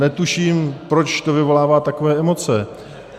Netuším, proč to vyvolává takové emoce.